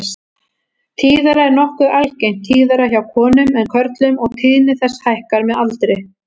Þetta er nokkuð algengt, tíðara hjá konum en körlum og tíðni þess hækkar með aldri.